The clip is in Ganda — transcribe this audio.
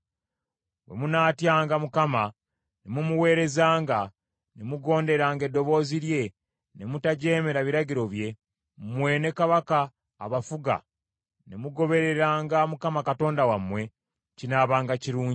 Bwe munaatyanga Mukama ne mumuweerezanga, ne mugonderanga eddoboozi lye, ne mutajeemera biragiro bye, mmwe ne kabaka abafuga ne mugobereranga Mukama Katonda wammwe, kinaabanga kirungi.